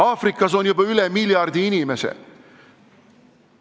Aafrikas on juba üle miljardi inimese.